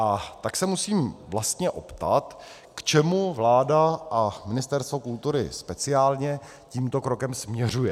A tak se musím vlastně zeptat, k čemu vláda a Ministerstvo kultury speciálně tímto krokem směřuje.